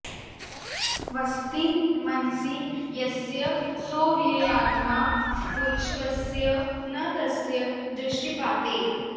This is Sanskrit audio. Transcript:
वसति मनसि यस्य सोऽव्ययात्मा पुरुषवरस्य न तस्य दृष्टिपाते